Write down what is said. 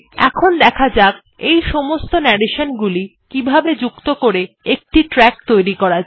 এখন দেখা যাক এই সমস্ত narration গুলি কিভাবে যুক্ত করে একটি ট্র্যাক তৈরী করা যায়